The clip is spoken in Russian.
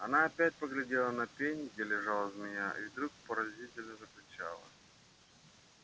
она опять поглядела на пень где лежала змея и вдруг пронзительно закричала